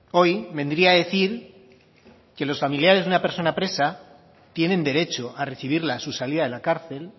hoy vendría a decir que los familiares de una persona presa tienen derecho a recibirla a su salida de la cárcel